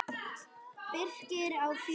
Birkir á fjögur börn.